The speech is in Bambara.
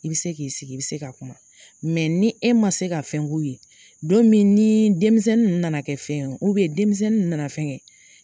I be se k'i sigi i be se ka kuma mɛ ni e ma se ka fɛn k'u ye don min nii denmisɛnni nana kɛ fɛn ye u bɛ ni denmisɛnni ninnu nana kɛ fɛn ye